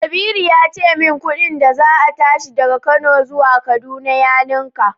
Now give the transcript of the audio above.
Kabiru ya ce min kudin da za a tashi daga Kano zuwa kaduna ya ninka.